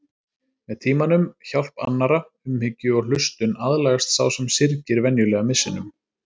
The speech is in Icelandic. Með tímanum, hjálp annarra, umhyggju og hlustun aðlagast sá sem syrgir venjulega missinum.